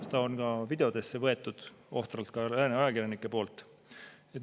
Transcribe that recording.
Seda on lääne ajakirjanikud ohtralt ka videotesse võtnud.